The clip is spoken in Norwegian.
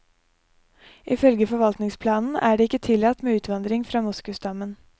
Ifølge forvaltningsplanen er det ikke tillatt med utvandring fra moskusstammen.